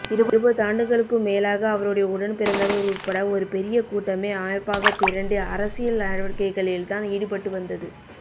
இருபதாண்டுகளுக்கும் மேலாக அவருடைய உடன்பிறந்தவர் உட்பட ஒரு பெரிய கூட்டமே அமைப்பாகத் திரண்டு அரசியல்நடவடிக்கைகளில்தான் ஈடுபட்டுவந்தது